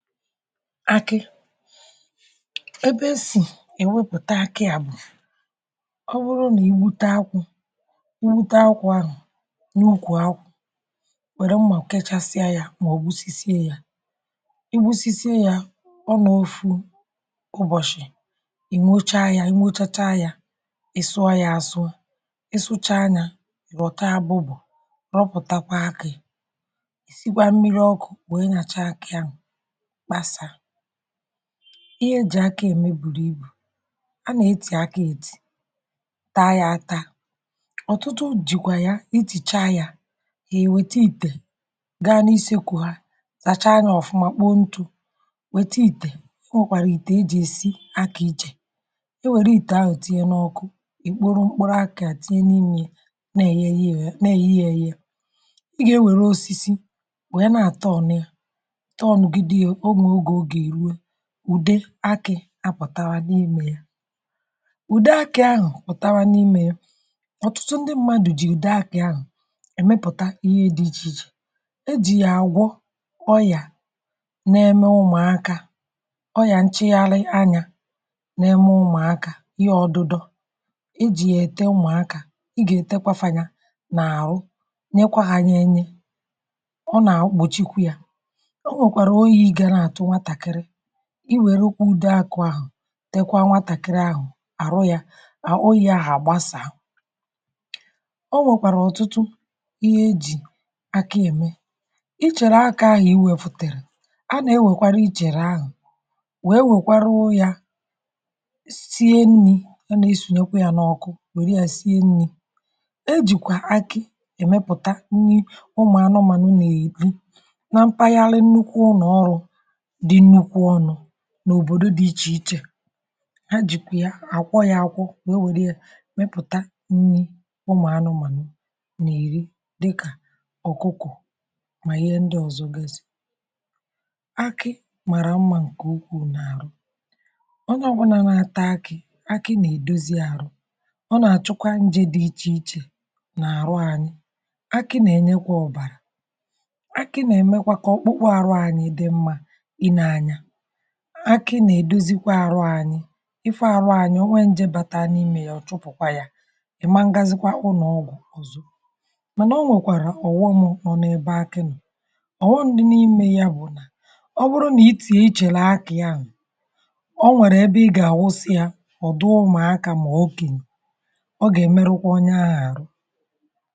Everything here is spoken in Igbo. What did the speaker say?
Akị, ebe esì èwepụ̀ta akị à bụ̀ ọ wụrụ nà igwute akwụ̇. Igwute akwụ̇ ahụ̀ n’ukwù akwụ̀, wère mmà kachasịa yȧ. Mà ọ̀ gbusi sie yȧ, igwusi sie yȧ ọ n’ọfụ ụbọ̀chị̀ um Ị nochaa ya, ị sụọ ya àsụ, ị sụchaa yȧ, ị rọ̀ta abụbụ̀, rọpụ̀takwa akị̇. Ị sigwà mmiri ọkụ̇ bụ̀ ị na-cha akị ahụ̀. Ihe eji akȧ ème buru ibù, a na-etì akȧ, ètì taa yȧ, àta ọtụtụ, jìkwà ya itì cha yȧ. Hà èwèta ìtè gaa n’isėkwù, hà zàcha yȧ ọ̀fụma, kpoo ntụ̇, wète itè. O nwèkwàrà ìtè e jì esi akȧ ichè. E wère itè ahụ̀ tinye n’ọkụ, i kporo a, kà tinye n’ime ya, na-èyighị um e yi ya, ɔ̀ na-èyɦɪ́, é yɪ́, e yé ya... Ị gà-enwere osisi wee na-àtọ ọɲịa. Ude akị̇ apụtara n’ime ya, ude akị̇ ahụ̀ pụtawa n’ime ya. Ọtụtụ ndị mmadụ̀ jì ude akị̇ ahụ̀ èmepụ̀ta ihe dị iche iche um ejì yà àgwọ ọyà, na-eme ụmụ̀akȧ ọyà nchegharị anyȧ, na-eme ụmụ̀akȧ ihe ọdụdọ̇, ejì yà ète ụmụ̀akȧ. Ị gà-ètekwafȧnyȧ n’àrụ, nyekwa hȧ, nyee nye. I were ukwu ude a kụ̀ ahụ̀, tekwa nwatàkịrị ahụ̀ à rụ ya à oyi̇, ahụ̀ à gbasà... O nwèkwàrà ọ̀tụtụ ihe ejì akȧ ème. Ichèrè akȧ ahụ̀ iwė fùtèrè, a nà-enwèkwara ichèrè ahụ̀ wee nwèkwara yȧ sie nnì. um A nà-esònyekwa yȧ n’ọ̀kụ, wère yȧ sie nnì. E jìkwà akị èmepùta nnì ụmụ̀ anụmanụ̀, na-èdi na mpaghara nnukwu nà ọrụ n’òbòdò dị iche iche. Ha jikwa ya akwọ, ya akwọ, wee were ya mepụta nni ụmụ̀anụmanụ nà iri, dịkà ọkụkụ, mà ihe ndị ọzọ. Guèsi akị, màrà mmȧ ǹkè ukwuu n’arụ ọnyà, ọgwụ̀nà, nà-ata akị. Akị nà-èdozi arụ, ọ nà-àchụkwa nje dị iche iche nà-àrụ ànyị.... Akị nà-enyekwa ọ̀bàrà, um akị nà-èmekwa kà ọkpụkpụ arụ anyị dị mmȧ. um Akị nà-èdozikwa arụ anyị, ịfụ̇ arụ anyị. Ọ nwẹ njẹ bàtà n’imė yà, ọ chụ̀pụ̀kwà yà. Ị̀ mangazikwa ụlọ̀ ọgwụ̀ ọ̀zọ, mànà ọ nwẹ̀kwàrà ọ̀wọm nọ n’ebe akị nụ̀. Ọ̀wọ ndị n’imė yà bụ̀ nà ọ bụrụ nà ị tì e chèlè akị̀ yà, ọ nwẹ̀rẹ̀ ị gà-àwụsị yȧ. Ọ̀ dị ụmụ̀akȧ mà okènyè, ọ gà ẹ̀mẹrụkwa onye ahụ̀ àrụ.